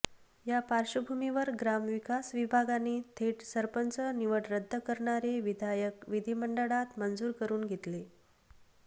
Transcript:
या पार्श्वभूमीवर ग्रामविकास विभागाने थेट सरपंच निवड रद्द करणारे विधेयक विधिमंडळात मंजूर करून घेतले